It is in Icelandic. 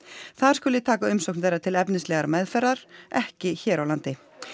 þar skuli taka umsókn þeirra til efnislegrar meðferðar ekki hér á landi